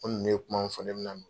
Ko ninnu ye kuma min fɔ ne